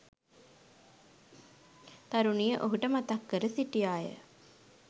තරුණිය ඔහුට මතක් කර සිටියා ය.